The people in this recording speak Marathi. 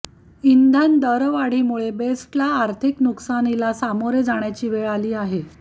इंधनदरवाढीमुळे बेस्टला आर्थिक नुकसानीला सामोरे जाण्याची वेळ आली आहे